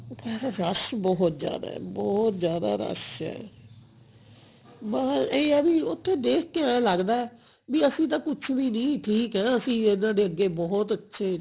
rush ਬਹੁਤ ਜਿਆਦਾ ਬਹੁਤ ਜਿਆਦਾ rush ਹੈ ਬਸ ਇਹ ਹੈ ਵੀ ਉੱਥੇ ਦੇਖ ਕੇ ਐਂ ਲਗਦਾ ਵੀ ਅਸੀਂ ਤਾਂ ਕੁੱਛ ਵੀ ਨਹੀਂ ਠੀਕ ਹਾਂ ਅਸੀਂ ਇਹਨਾਂ ਦੇ ਅੱਗੇ ਬਹੁਤ ਅੱਛੇ